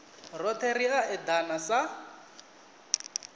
rothe ri a edana sa